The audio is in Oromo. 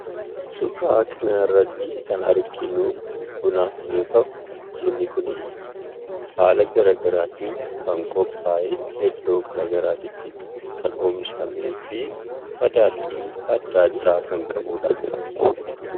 Suuraa kana irratti kan arginu, buna yoo ta'u bunni kunis haala garaagaraatin kan qopha'ee, iddoo varaagaraatti kan oomishaameefi madaalli adda addaa kan qabudha.